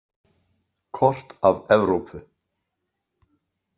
Kort af Evrópu.